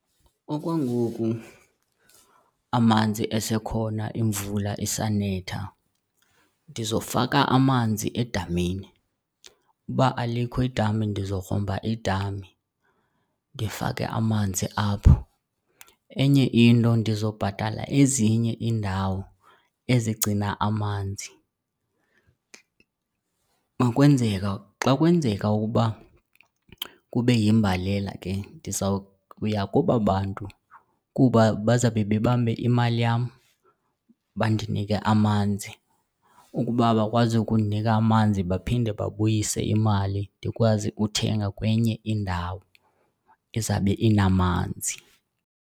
Okwangoku amanzi esekhona, imvula isanetha ndizofaka amanzi edamini. Uba alikho idami ndizogrumba idami ndifake amanzi apho. Enye into ndizobhatala ezinye iindawo ezigcina amanzi ukwenzeka xa kwenzeka ukuba kube yimbalela ke ndizawuya kubabantu kuba bazawube bebambe imali yam bandinike amanzi. Ukuba abakwazi ukundinika amanzi baphinde babuyise imali, ndikwazi ukuthenga kwenye indawo ezawube inamanzi.